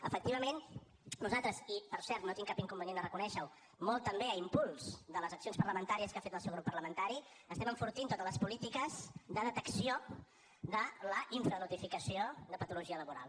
efectivament nosaltres i per cert no tinc cap inconvenient a reconèixer ho molt també a impuls de les accions parlamentàries que ha fet el seu grup parlamentari estem enfortint totes les polítiques de detecció de la infranotificació de patologia laboral